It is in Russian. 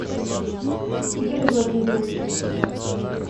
игоря владимировича